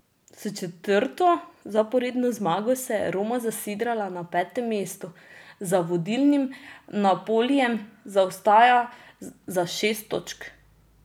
S četrto zaporedno zmago se je Roma zasidrala na petem mestu, za vodilnim Napolijem zaostaja za šest točk.